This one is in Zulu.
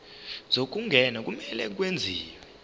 zokungena kumele kwenziwe